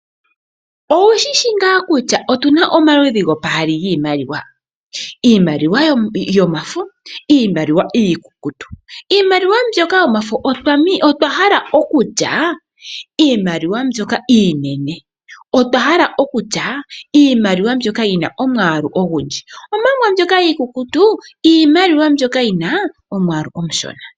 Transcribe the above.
Okushishi ngaa kutya otuna omaludhi gaali giimaliwa ngaashi iimaliwa yomafo oshowoo iimaliwa iikukutu . Iiimaliwa yomafo iiimaliwa iinene , omanga mbyoka iikukutu oyina omwaalu omushona.